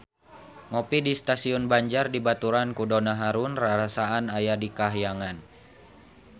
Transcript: Ngopi di Stasiun Banjar dibaturan ku Donna Harun rarasaan aya di kahyangan